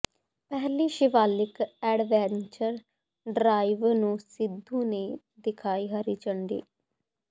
ਪਹਿਲੀ Shivalik adventure drive ਨੂੰ ਸਿੱਧੂ ਨੇ ਦਿਖਾਈ ਹਰੀ ਝੰਡੀ